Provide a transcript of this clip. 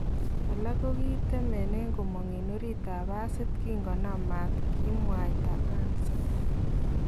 Alak kokikatemenen komong en oriit ab pasit kinkonam maat , kimwayta Ansa